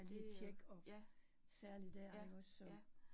Det øh ja. Ja, ja